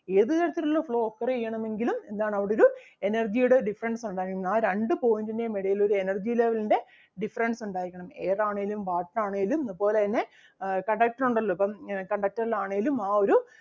ഏത് തരത്തിൽ ഉള്ള flow occur ചെയ്യണമെങ്കിലും എന്താണ് അവിടൊരു energy ടെ difference ഉണ്ടായിരിക്കണം ആ രണ്ട് point ന്റേം എടയിലൊരു energy level ൻ്റെ difference ഉണ്ടായിരിക്കണം air ആണേലും water ആണേലും അതുപോലെ തന്നെ ആഹ് conductor ഒണ്ടല്ലോ ഇപ്പം ഉം conductor ൽ ആണേലും